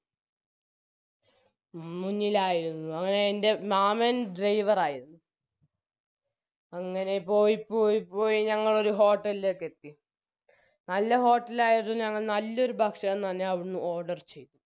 മുന്നിലായിരുന്നു അങ്ങനെ എൻറെ മാമൻ driver ആയിരുന്നു അങ്ങനെ പോയി പോയി പോയി ഞങ്ങളൊരു hotel ലേക്കെത്തി നല്ല hotel ആയിരുന്നു ഞങ്ങൾ നല്ലൊരു ഭക്ഷണം തന്നെ അവിടുന്ന് order ചെയ്തു